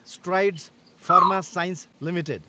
Strides Pharma Science Ltd